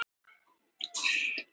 Hraunstöplar og flikruberg.